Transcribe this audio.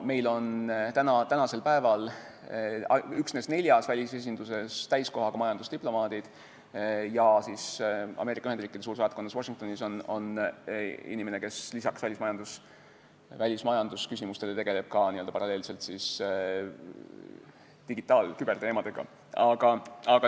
Meil on tänasel päeval üksnes neljas välisesinduses täiskohaga majandusdiplomaadid ja Ameerika Ühendriikide suursaatkonnas Washingtonis on inimene, kes peale välismajandusküsimuste tegeleb ka digitaal- ja küberteemadega.